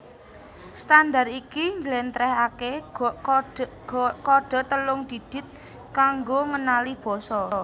Standard iki njlèntrèhaké kodhe telung didit kanggo ngenali basa